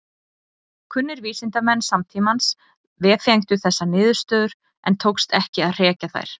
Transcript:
Kunnir vísindamenn samtímans vefengdu þessar niðurstöður en tókst ekki að hrekja þær.